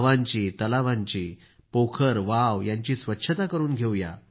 गावांची तलावांची पोखरवाव यांची स्वच्छता करून घेऊ